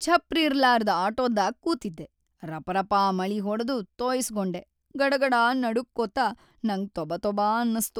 ಛಪ್ರಿರ್ಲಾರ್ದ್‌ ಆಟೋದಾಗ್‌ ಕೂತಿದ್ದೆ ರಪಾರಪಾ ಮಳಿ ಹೊಡದು ತೊಯ್ಸಗೊಂಡೆ, ಗಡಾಗಡಾ ನಡಗ್ಕೊತ ನಂಗ್ ತೊಬಾತೊಬಾ ಅನ್ನಸ್ತು.